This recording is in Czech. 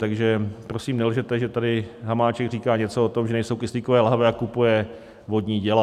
Takže prosím, nelžete, že tady Hamáček říká něco o tom, že nejsou kyslíkové lahve, a kupuje vodní děla.